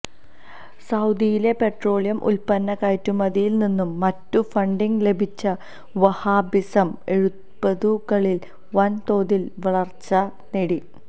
സൌദിയിലെ petroleum ഉത്പന്ന കയറ്റുമതിയില്നിന്നും മറ്റും ഫണ്ടിങ് ലഭിച്ച വഹാബിസം എഴുപതുകളില് വന് തോതില് വളര്ച്ച നേടി